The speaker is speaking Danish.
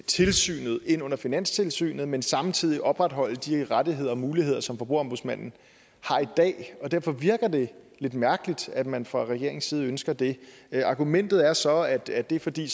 tilsynet ind under finanstilsynet men samtidig opretholde de rettigheder og muligheder som forbrugerombudsmanden har i dag derfor virker det lidt mærkeligt at man fra regeringens side ønsker det argumentet er så at at det er fordi